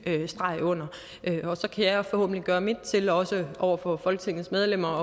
streg under det og så kan jeg forhåbentlig gøre mit til også over for folketingets medlemmer